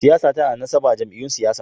Siyasa tana da nasaba da jam’iyyun siyasa.